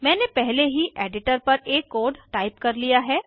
मैंने पहले ही एडिटर पर एक कोड टाइप किया है